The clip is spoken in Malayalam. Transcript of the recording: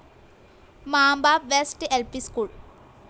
മാംബ വെസ്റ്റ്‌ ൽ പി സ്കൂൾ